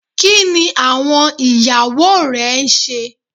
Kini awọn iyawo rẹ n ṣe?